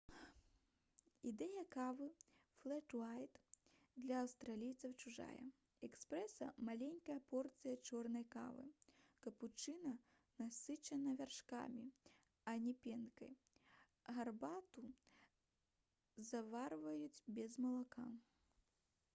ідэя кавы «флэт уайт» для аўстралійцаў чужая. эспрэса — маленькая порцыя чорнай кавы капучына насычана вяршкамі а не пенкай гарбату заварваюць без малака